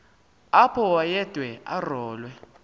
apho wayede arolwe